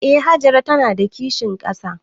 Eh Hajara ta na da kishin ƙasa